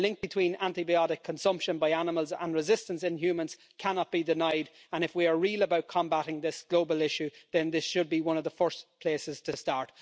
The link between antibiotic consumption by animals and resistance in humans cannot be denied, and if we are going to be realistic about combating this global issue, then this should be one of the first places to start.